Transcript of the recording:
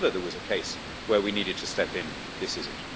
If ever there was a case where we needed to step in, this is it.